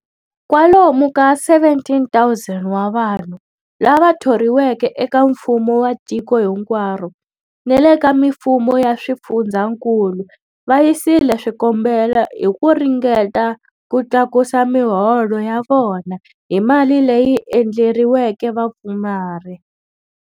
Kwalomu ka 17,000 wa vanhu lava thoriweke eka mfumo wa tiko hinkwaro ni le ka mifumo ya swifundzankulu va yisile swikombelo hi ku ringeta ku tlakusa miholo ya vona hi mali leyi endleriweke vapfumari.